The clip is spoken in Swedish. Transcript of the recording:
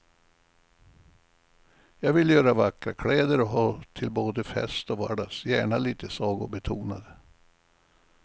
Jag vill göra vackra kläder att ha till både fest och vardags, gärna lite sagobetonade.